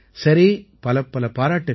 சரி பலப்பல பாராட்டுக்கள்